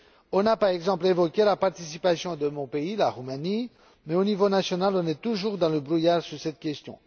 On a par exemple évoqué la participation de mon pays, la Roumanie, mais au niveau national, on est toujours dans le brouillard sur cette question.